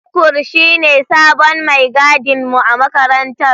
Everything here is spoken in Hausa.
Tukur shine sabon mai gadin mu a makarantar.